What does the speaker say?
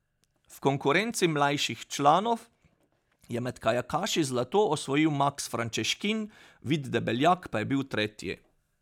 V konkurenci mlajših članov je med kajakaši zlato osvojil Maks Frančeškin, Vid Debeljak pa je bil tretji.